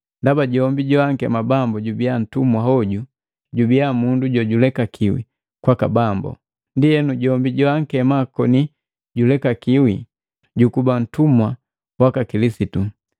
Ndaba jombi joankema Bambu jubiya nntumwa hoju jubiya mundu jojulekakiwi kwaka Bambu. Ndienu jombi joankema koni julekakiwi, jukuba ntumwa waka Kilisitu.